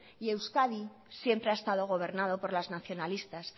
y euskadi siempre ha estado gobernado por los nacionalistas